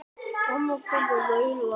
Amma fór að raula.